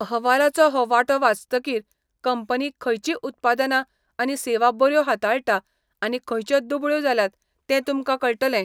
अहवालाचो हो वांटो वाचतकीर, कंपनी खंयचीं उत्पादनां आनी सेवा बऱ्यो हाताळटा आनी खंयच्यो दुबळ्यो जाल्यात हें तुमकां कळटलें.